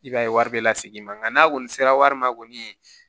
I b'a ye wari bɛ lasegin i ma nka n'a kɔni sera wari ma kɔni